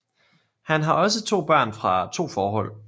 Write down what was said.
Han har også to børn fra to forhold